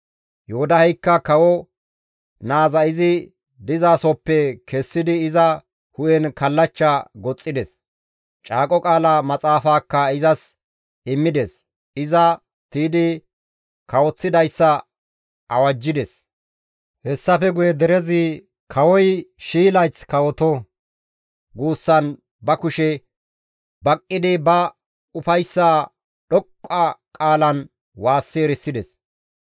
Yoodaheykka kawo naaza izi dizasohoppe kessidi iza hu7en kallachcha goxxides; caaqo qaala maxaafaakka izas immides; iza tiydi kawoththidayssa awajjides; hessafe guye derezi, «Kawoy 1,000 layth kawoto» guussan ba kushe baqqidi ba ufayssaa dhoqqa qaalan waassi erisides.